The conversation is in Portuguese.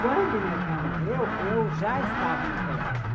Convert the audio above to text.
Quando meu pai morreu, eu já estava no colégio.